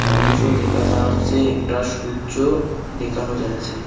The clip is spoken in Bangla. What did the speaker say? মানুষও দেখা যাচ্ছে একটা সূর্য দেখানো যাচ্ছে।